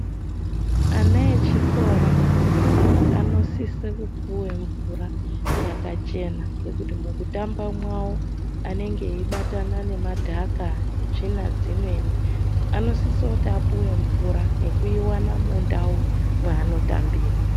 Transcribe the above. Ana echikora anosisa kupuwa mvura yakachena ngekuti mukutamba mwawo anenge eibatana nemadhaka netsvina dzimweni anosisa kuti apiwe mvura nekuiwana mundau yaanotambira.